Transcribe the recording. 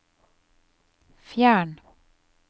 fjern